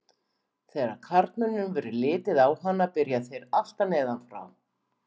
Þegar karlmönnum verður litið á hana byrja þeir alltaf neðan frá.